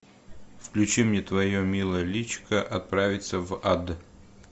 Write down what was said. включи мне твое милое личико отправится в ад